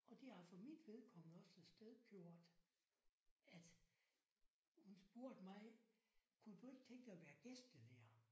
Og det har for mit vedkommende også afsted gjort at hun spurgte mig kunne du ikke tænke dig at være gæstelærer